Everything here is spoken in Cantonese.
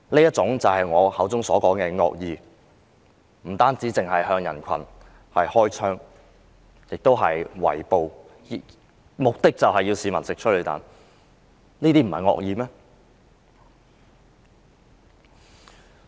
這就是我說的惡意，警方不但向人群開槍，更進行圍捕，目的就是要示威者嚐催淚彈。